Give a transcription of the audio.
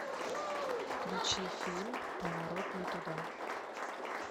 включи фильм поворот не туда